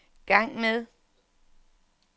gang med